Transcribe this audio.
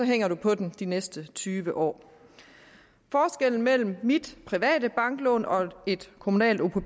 hænger du på den de næste tyve år forskellen mellem mit private banklån og et kommunalt opp hvor